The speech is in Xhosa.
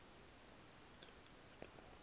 nokhenketho